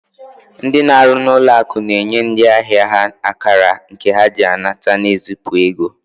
Ndị na-arụ n'ụlọ akụ na-enye ndị ahịa ha akara nke ha ji anata na ezipụ ego